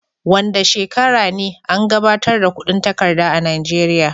Wanda shekara ne an gabatar da kudin takarda a najeria?